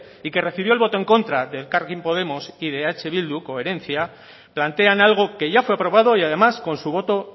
y que recibió el voto en contra de elkarrekin podemos y de eh bildu coherencia plantean algo que ya fue aprobado y además con su voto